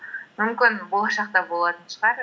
мүмкін болашақта болатын шығар